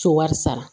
So wari sara